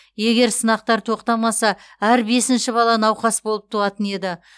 егер сынақтар тоқтамаса әр бесінші бала науқас болып туатын еді